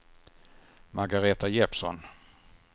Margaretha Jeppsson